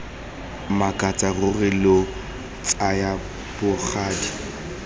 makatsa ruri lo tsaya bogadi